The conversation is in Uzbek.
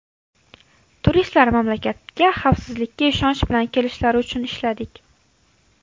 Turistlar mamlakatga xavfsizlikka ishonch bilan kelishlari uchun ishladik.